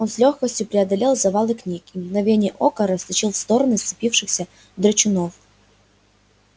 он с лёгкостью преодолел завалы книг и в мгновение ока растащил в стороны сцепившихся драчунов